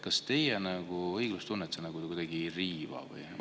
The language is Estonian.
Kas teie õiglustunnet see kuidagi ei riiva?